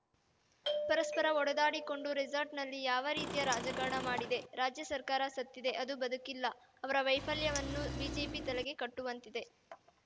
ಪರಸ್ಪರ ಹೊಡೆದಾಡಿಕೊಂಡು ರೇಸಾರ್ಟ್‌ನಲ್ಲಿ ಯಾವ ರೀತಿಯ ರಾಜಕಾರಣ ಮಾಡಿದೆ ರಾಜ್ಯ ಸರ್ಕಾರ ಸತ್ತಿದೆ ಅದು ಬದುಕಿಲ್ಲ ಅವರ ವೈಫಲ್ಯವನ್ನು ಬಿಜೆಪಿಯ ತಲೆಗೆ ಕಟ್ಟುವಂತ್ತಿದೆ